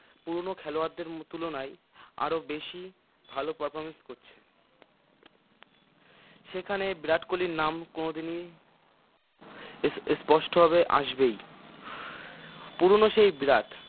পুরোনো খেলোয়াড়দের তুলনায় আরো বেশি ভাল performance করছে সেখানে বিরাট কোহলির নাম কোনোদিনই এসস্পষ্টভাবে আসবেই পুরোনো সেই বিরাট